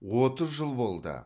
отыз жыл болды